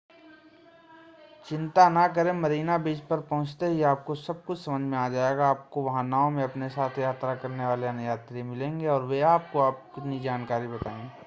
चिंता न करें मरीना बीच पर पहुंचते ही आपको सब कुछ समझ में आ जाएगा आपको वहां नाव में अपने साथ यात्रा करने वाले अन्य यात्री मिलेंगे और वे आपको अपनी जानकारी बताएंगे